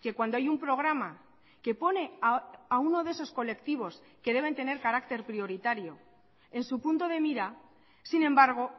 que cuando hay un programa que pone a uno de esos colectivos que deben tener carácter prioritario en su punto de mira sin embargo